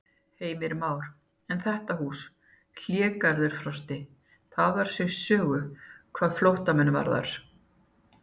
Heimir Már: En þetta hús, Hlégarður Frosti, það á sér sögu hvað flóttamenn varðar?